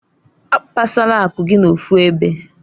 Akpasala akụ gị n'ofu ebe.